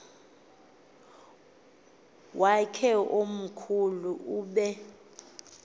wakhe omkhulu ube